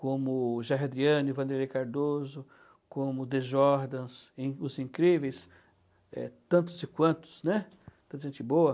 como Gerardiane, Vanderlei Cardoso, como The Jordans, e os incríveis, eh, tantos e quantos, tanta gente boa.